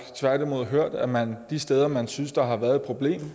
hørt at man de steder hvor man synes der har været et problem